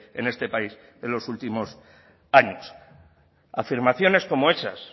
en este país en los últimos años afirmaciones como hechas